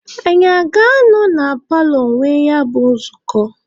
Anyị a ga-anọ na paalọ nwee ya bụ nzukọ?